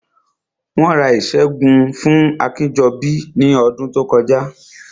Wọ́n ra ìṣẹ́gun Akínjọbí ní ọdún tó kọjá